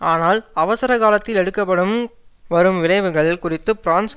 ஆனால் அவசர காலத்தில் எடுக்கப்படும் வரும் விளைவுகள் குறித்து பிரான்ஸ்